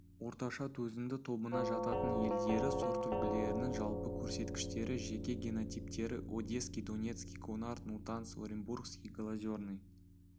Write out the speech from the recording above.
орташа төзімді тобына жататын елдері сортүлгілерінің жалпы көрсеткіштері жеке генотиптері одесский донецкий гонар нутанс оренбургский голозерный